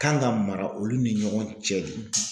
Kan ka mara olu ni ɲɔgɔn cɛ de;